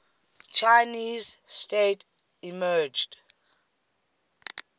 chinese state emerged